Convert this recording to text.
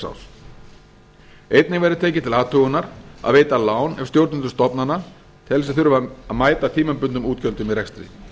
árs einnig verður tekið til athugunar að veita lán ef stjórnendur stofnana telja sig þurfa að mæta tímabundnum útgjöldum í rekstri